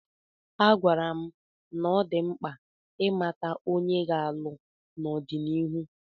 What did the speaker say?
Agwara m na ọ dị mkpa ịmata onye ọ ga-alụ n'ọdịnihu.